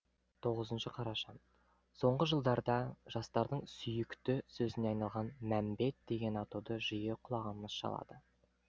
тоғызыншы қараша соңғы жылдарда жастардың сүйікті сөзіне айналған мәмбет деген атауды жиі құлағымыз шалады